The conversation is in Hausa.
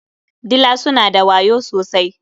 Dila suna da wayo sosai.